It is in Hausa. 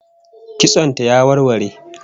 Kitson ta ya warware